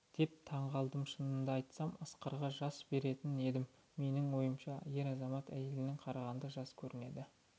деп таңғалдым шынымды айтсам асқарға жас беретін едім менің ойымша ер азамат әйелге қарағанда жас көрінеді